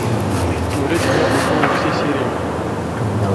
смотреть игра престолов все серии